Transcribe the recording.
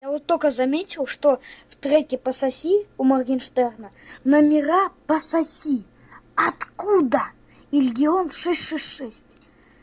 я вот только заметил что в треке пососи у моргенштерна номера пососи откуда и регион шесть шесть шесть